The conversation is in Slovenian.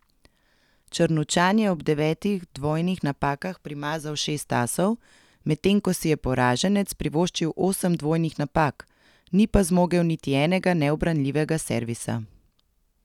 Črnučan je ob devetih dvojnih napakah primazal šest asov, medtem ko si je poraženec privoščil osem dvojnih napak, ni pa zmogel niti enega neubranljivega servisa.